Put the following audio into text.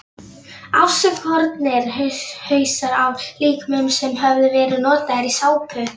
Afskornir hausar af líkömum sem höfðu verið notaðir í sápur.